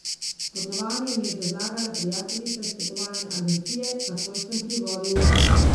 Potovanje mi je predlagala prijateljica iz potovalne agencije, takoj sem privolil.